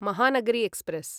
Mahanagari express